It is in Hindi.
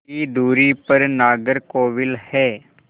की दूरी पर नागरकोविल है